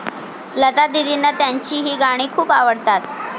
लतादीदींना त्यांची ही गाणी खूप आवडतात